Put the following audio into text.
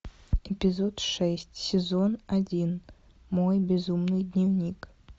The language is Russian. эпизод шесть сезон один мой безумный дневник